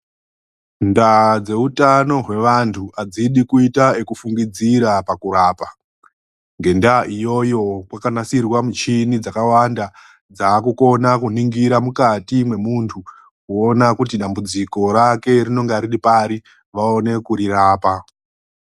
Ndaa dzeutano hwevandu adzidi kuita zvekufungira pakurapa ngenda yekuti kuzvibhedhlera kwane michini yakawanda inokwanisa kuningira mukati memundu kuona kuti dambudziko riripari vaone kurirapa.